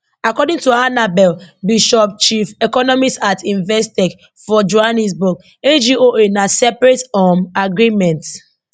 according to annabel bishop chief economist at investec for johannesburg agoa na separate um agreement